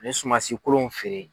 Ani sumansi kolonw feere.